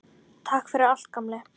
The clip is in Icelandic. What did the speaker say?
Takk fyrir allt, gamli.